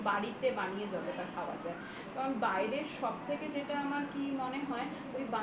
বাড়িতে বানিয়ে যতটা খাওয়া যায় কারণ বাইরের সব থেকে যেটা আমার কি মনে হয় ওই